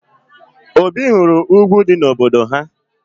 Obi hụrụ ugwu dị n'obodo ha